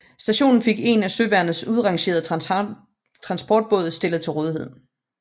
Stationen fik en af søværnet udrangeret transportbåd stillet til rådighed